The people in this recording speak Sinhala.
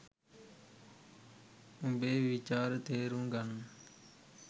උඹේ විචාර තේරුම් ගන්න